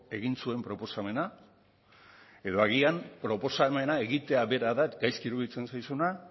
egin zuen proposamena edo agian proposamena egitea bera da gaizki iruditzen zaizuna